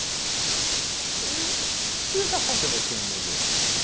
Eu o que que você está fazendo aqui no museu?